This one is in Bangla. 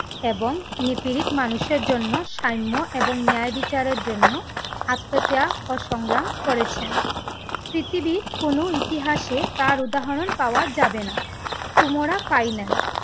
এবং নিপিড়িত মানুষের জন্য সাম্য এবং ন্যায় বিচারের জন্য আত্মত্যাগ ও সংগ্রাম করেছেন। পৃথিবীর কোনো ইতিহাসে তার উদাহরণ পাওয়া যাবে না। তুমরাও